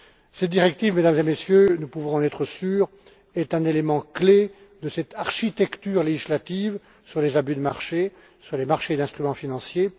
Cette directive, Mesdames et Messieurs, nous pouvons en être sûrs, est un élément clé de cette architecture législative sur les abus de marché, sur les marchés d'instruments financiers.